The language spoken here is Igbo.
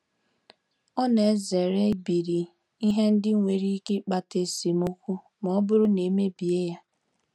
Ọ na-ezere ibiri ihe ndị nwere ike ịkpata esemokwu ma ọ bụrụ na e mebie ya.